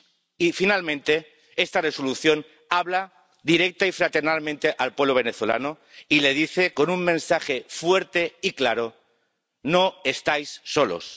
Y, finalmente, esta Resolución habla directa y fraternalmente al pueblo venezolano y le dice, con un mensaje fuerte y claro, no estáis solos.